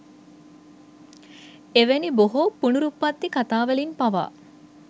එවැනි බොහෝ පුනරුප්පත්ති කථාවලින් පවා